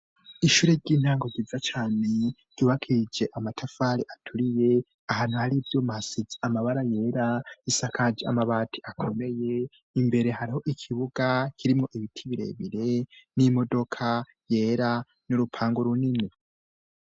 Ishure ry'intango ryiza cane, ryubakishije amatafari aturiye ahantu hari byo masits amabara yera isakaji amabati akomeye imbere hariho ikibuga kirimo ibiti birebire n'imodoka yera n'urupango runini.